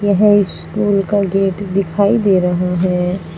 High school का gate दिखाई दे रहा है।